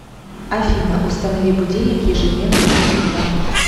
афина установи будильник ежедневно в шесть утра